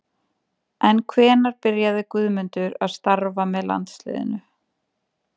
En hvenær byrjaði Guðmundur að starfa með landsliðinu?